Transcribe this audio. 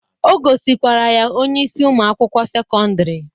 O gosikwara ya onyeisi ụmụ akwụkwọ sekọndrị